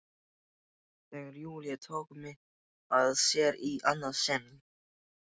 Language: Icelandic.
Þegar Júlía tók mig að sér í annað sinn.